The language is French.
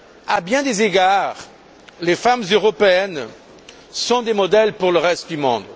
À bien des égards, les femmes européennes sont des modèles pour le reste du monde.